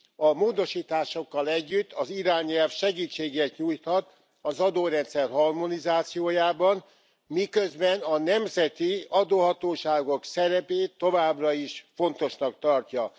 A módosításokkal együtt az irányelv segítséget nyújthat az adórendszer harmonizációjában, miközben a nemzeti adóhatóságok szerepét továbbra is fontosnak tartja.